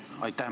Aitäh!